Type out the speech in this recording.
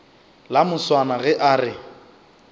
la moswana ge a re